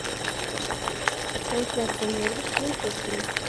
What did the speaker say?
трансляция норвич с манчестером